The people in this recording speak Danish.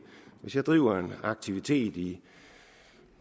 hvis jeg driver en aktivitet i